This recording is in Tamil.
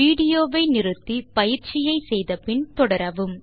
விடியோவை இங்கே இடைநிறுத்தி கொடுத்த பயிற்சியை செய்தபின் தொடரவும்